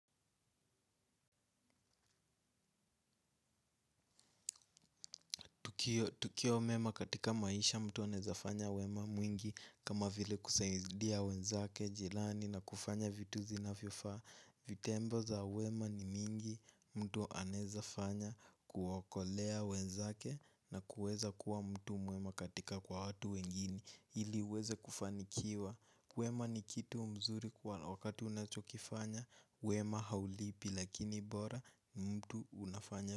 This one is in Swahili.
Tukio mema katika maisha mtu anaezafanya wema mwingi kama vile kusaidia wenzake jirani na kufanya vitu zinavyofaa. Vitembo za wema ni mingi mtu anaezafanya kuwaokolea wenzake na kuweza kuwa mtu mwema katika kwa watu wengine ili uweze kufanikiwa. Wema ni kitu mzuri kwa wakati unachokifanya wema haulipi lakini bora mtu unafanya.